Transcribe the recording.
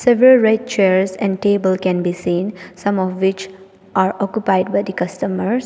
Several red chairs and table can be seen some of which are occupied by the customers.